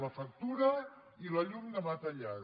la factura i la llum demà tallada